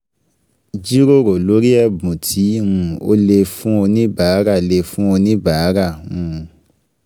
Jíròrò lórí ẹ̀bùn tí um o lè fún oníbàárà lè fún oníbàárà um